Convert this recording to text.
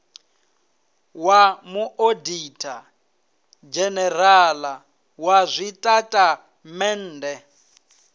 wa muoditha dzhenerala wa zwitatamennde